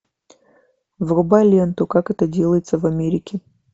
врубай ленту как это делается в америке